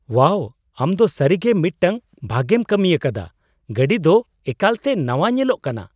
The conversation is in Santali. ᱳᱣᱟᱣ! ᱟᱢ ᱫᱚ ᱥᱟᱹᱨᱤᱜᱮ ᱢᱤᱫᱴᱟᱝ ᱵᱷᱟᱜᱮᱢ ᱠᱟᱹᱢᱤᱭᱟᱠᱟᱫᱟ ᱾ ᱜᱟᱹᱰᱤ ᱫᱚ ᱮᱠᱟᱞᱛᱮ ᱱᱟᱣᱟ ᱧᱮᱞᱚᱜ ᱠᱟᱱᱟ !